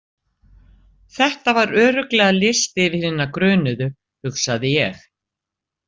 Þetta var örugglega listi yfir hina grunuðu, hugsaði ég.